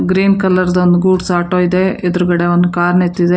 Green colour ಒಂದ್ goods auto ಇದೆ ಎದುರುಗಡೆ ಒಂದು ಕಾರ್ ನಿಂತಿದೆ.